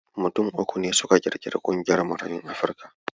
Mutum uku ne suka ƙirƙiri ƙungiyar Marayun Afrika.